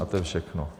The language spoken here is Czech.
A to je všechno.